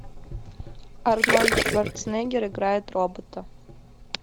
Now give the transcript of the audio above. арнольд шварценеггер играет робота